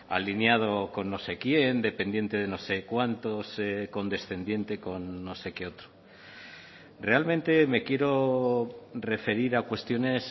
alineado con no sé quién dependiente de no sé cuántos condescendiente con no sé qué otro realmente me quiero referir a cuestiones